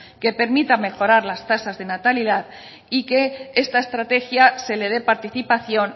que permitan mejorar las tasas de natalidad y que esta estrategia se le dé participación